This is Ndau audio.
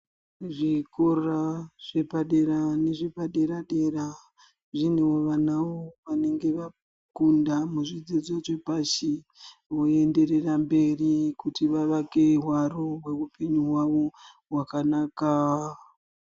Zvikora zvepadera nezvepadera-dera zvinewo vanawo vanenge vakunda pazvidzidzo zvepashi, voenderera mberi kuti vavake hwaro hweupenyu hwavo hwakanaka.